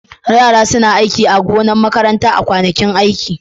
Yara suna aiki a gonar makaranta a kwanakin aiki.